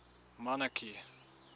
monarchy